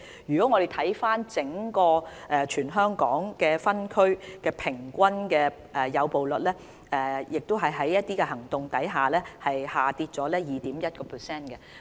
如果我們看回整個全港分區平均誘捕率，在進行這些行動後，也下跌了 2.1%。